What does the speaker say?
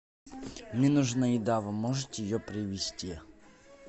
мне нужна еда вы можете ее привезти